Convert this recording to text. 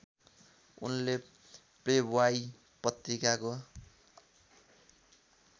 उनले प्लेब्वाइ पत्रिकाको